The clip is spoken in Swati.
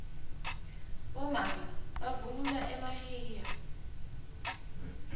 bomake bavunula emahiya